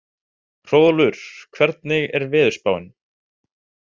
Hróðólfur, hvernig er veðurspáin?